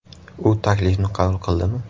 U taklifni qabul qildimi?